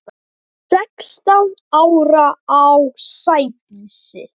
Sextán ára á Sædísi.